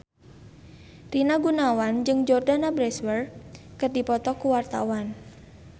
Rina Gunawan jeung Jordana Brewster keur dipoto ku wartawan